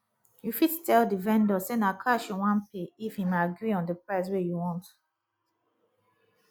you fit tell di vendor sey na cash you wan pay if im agree on di price wey you want